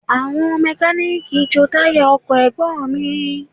Àwọn mẹ́kalíìkì ń jo táyà ọkọ̀ Ẹ̀gbọ́n mi